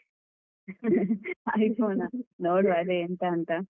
iPhone ಆ ನೋಡುವ ಅದೇ ಎಂತ ಅಂತ.